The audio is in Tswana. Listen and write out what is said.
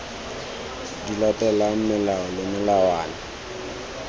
di latelang melao le melawana